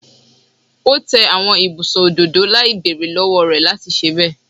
O te awọn ibusun ododo lai beere lọwọ rẹ lati ṣe bẹ